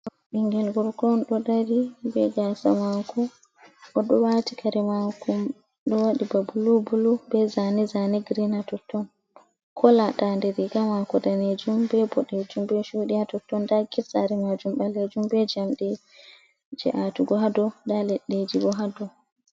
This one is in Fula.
Ɓingil gorko on ɗo dari be gasa mako, o ɗo wati kare mako ɗo waɗi ba bulu bulu, be zane zane green, ha totton kola dande riga mako danejum, be boɗejum, be chudi ha totton, nda gate saare majum ɓalejum, be jamde je atugo hado, nda leɗɗeji bo hado.